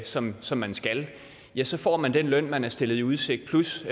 som som man skal ja så får man den løn man er stillet i udsigt plus